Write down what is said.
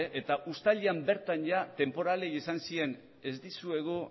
eta uztailean bertan ia tenporalei esan zien ez dizuegu